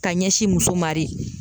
Ka ɲɛsin muso ma de.